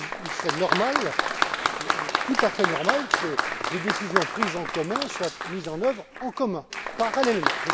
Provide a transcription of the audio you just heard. Il serait tout à fait normal que des décisions prises en commun soient mises en œuvre en commun, parallèlement.